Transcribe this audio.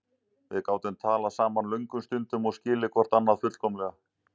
Við gátum talað saman löngum stundum og skilið hvort annað fullkomlega.